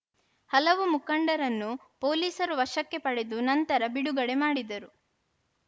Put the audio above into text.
ಹಲವು ಮುಖಂಡರನ್ನು ಪೊಲೀಸರು ವಶಕ್ಕೆ ಪಡೆದು ನಂತರ ಬಿಡುಗಡೆ ಮಾಡಿದರು